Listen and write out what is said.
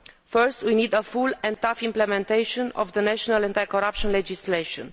First we need a full and tough implementation of national anti corruption legislation.